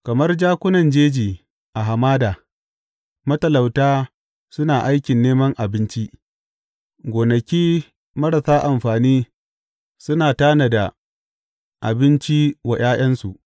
Kamar jakunan jeji a hamada, matalauta suna aikin neman abinci gonaki marasa amfani suna tanada abinci wa ’ya’yansu.